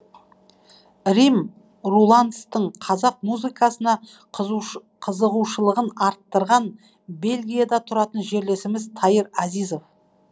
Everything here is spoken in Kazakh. вим рулантстың қазақ музыкасына қызығушылығын арттырған бельгияда тұратын жерлесіміз таир азизов